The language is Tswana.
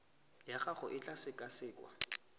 ya gago e tla sekasekwa